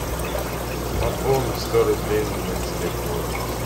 пополнить сто рублей на телефон